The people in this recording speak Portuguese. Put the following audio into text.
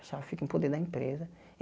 A chave fica em poder da empresa.